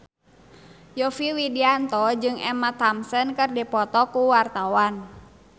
Yovie Widianto jeung Emma Thompson keur dipoto ku wartawan